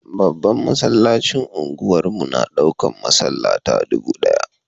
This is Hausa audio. Babban masallacin unguwar mu na daukan masallata dubu daya.